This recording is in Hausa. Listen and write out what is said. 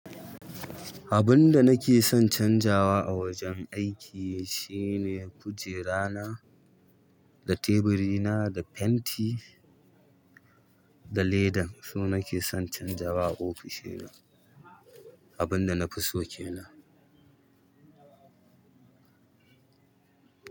Abun da nake son canjawa a wajen aiki shine kujera na, da teburi na, da fenti, da ledan. Su nake son canjawa a ofishina, abun da na fi so ke nan.